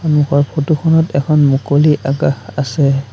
সন্মুখৰ ফটোখনত এখন মুকলি আকাশ আছে।